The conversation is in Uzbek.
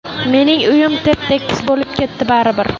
Mening uyim tep-tekis bo‘lib ketdi baribir.